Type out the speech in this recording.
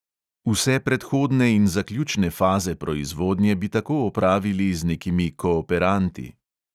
Vse predhodne in zaključne faze proizvodnje bi tako opravili z nekimi kooperanti.